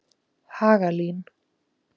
Hagalín